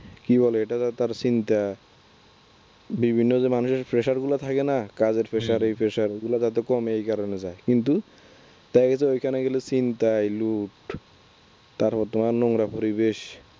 কি বলে এটা তো তার চিন্তা বিভিন্ন যে মানুষের pressure গুলো থাকে না কাজের pressure এই pressure হম এগুলো যাতে কমে এই কারনে যায় কিন্তু তাদের তো এখানে গেলে চিন্তা তার মধ্যে আবার নোংরা পরিবেশ